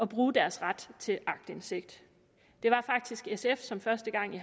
bruge deres ret til aktindsigt det var faktisk sf som første gang i